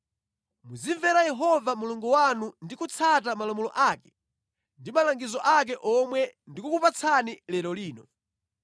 Muzimvera Yehova Mulungu wanu ndi kutsata malamulo ake ndi malangizo ake omwe ndikukupatsani lero lino.”